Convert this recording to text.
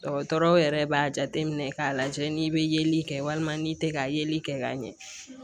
Dɔgɔtɔrɔw yɛrɛ b'a jateminɛ k'a lajɛ n'i bɛ yeli kɛ walima n'i tɛ ka yeli kɛ ka ɲɛ